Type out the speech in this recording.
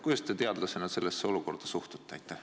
Kuidas te teadlasena sellesse olukorda suhtute?